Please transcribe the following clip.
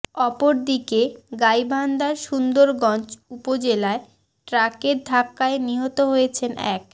অপরদিকে গাইবান্ধার সুন্দরগঞ্জ উপজেলায় ট্রাকের ধাক্কায় নিহত হয়েছেন এক